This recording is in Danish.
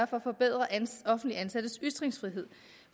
for at forbedre offentligt ansattes ytringsfrihed